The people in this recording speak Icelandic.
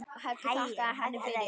Helgi þakkaði henni fyrir.